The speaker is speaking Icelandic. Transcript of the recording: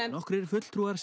nokkrir fulltrúar